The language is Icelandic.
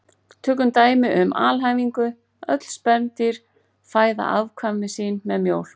Tökum dæmi um alhæfingu: Öll spendýr fæða afkvæmi sín með mjólk